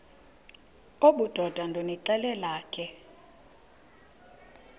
obudoda ndonixelela ke